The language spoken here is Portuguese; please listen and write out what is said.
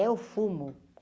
É o fumo.